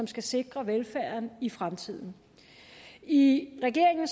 skal sikre velfærden i fremtiden i regeringen